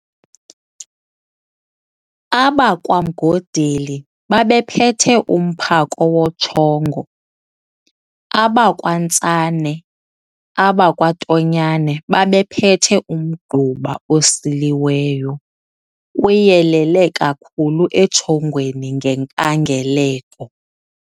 AbakwaMgodeli babephethe umphako wotshongo, abakwaNtsane, abakaTonyane babephethe umgquba osiliweyo, uyelele kakhulu etshongweni ngenkangeleko.